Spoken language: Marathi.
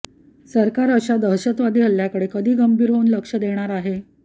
सरकार अशा दहशतवादी हल्ल्याकडे कधी गंभीर होऊन लक्ष देणार आहे